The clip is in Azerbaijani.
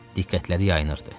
Diqqətləri yayınırdı.